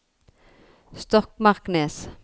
Stokmarknes